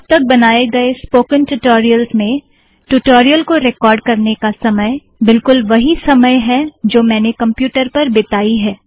अब तक बनाए गए स्पोकन ट्यूटोरियल्स में ट्यूटोरियल को रिकॉर्ड करने का समय बिलकुल वही समय है जो मैंने कंप्यूटर पर बिताई है